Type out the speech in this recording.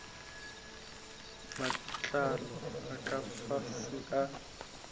matlalo a ka fase a